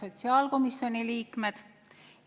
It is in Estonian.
Head sotsiaalkomisjoni liikmed!